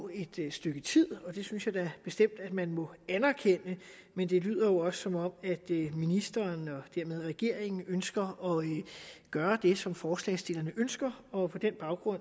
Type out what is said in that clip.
et stykke tid det synes jeg da bestemt at man må anerkende men det lyder jo også som om ministeren og dermed regeringen ønsker at gøre det som forslagsstillerne ønsker og på den baggrund